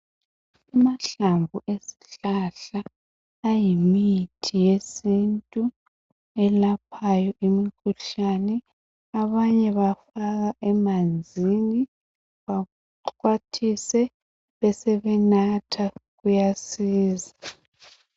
Amahlamvu ezihlahla ayimithi yesiNtu elaphayo imikhuhlane abanye bafaka emanzini baxhwathise besebenatha kuyasiza.